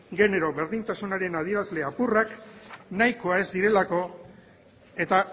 genero berdintasunaren adierazle apurrak nahikoa ez direlako eta